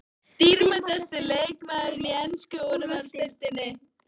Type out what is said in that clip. Dýrmætasti leikmaðurinn í ensku úrvalsdeildinni?